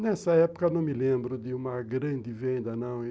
Nessa época, não me lembro de uma grande venda, não.